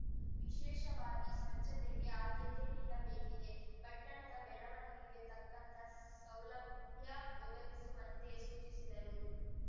ವಿಶೇಷವಾಗಿ ಸ್ವಚ್ಛತೆಗೆ ಆದ್ಯತೆ ನೀಡಬೇಕಿದೆ ಪಟ್ಟಣದ ಬೆಳವಣಿಗೆಗೆ ತಕ್ಕಂತ ಸೌಲಭ್ಯ ಒದಗಿಸುವಂತೆ ಸೂಚಿಸಿದರು